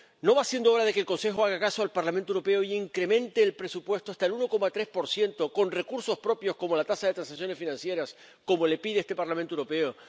¿No va siendo hora de que el Consejo haga caso al Parlamento Europeo e incremente el presupuesto hasta el 1,3 con recursos propios, como la tasa de transacciones financieras, como le pide este Parlamento Europeo?